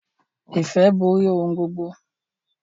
Ìfẹ́ borí ohun gbogbo.